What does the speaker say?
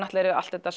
er er allt þetta